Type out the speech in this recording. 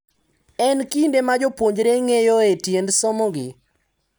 En kinde ma jopuonjre ng’eyoe tiend somogi,